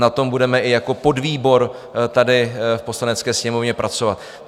Na tom budeme i jako podvýbor tady v Poslanecké sněmovně pracovat.